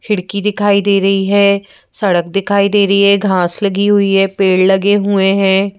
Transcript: खिड़की दिखाई दे रही है सड़क दिखाई दे रही है घास लगी हुई है पेड़ लगे हुए हैं।